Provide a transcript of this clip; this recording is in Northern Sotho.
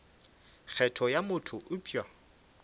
kgetho ke ya motho eupša